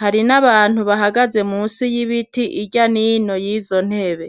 hari nabantu bahagaze munsi yibiti irya nino yizo nyene.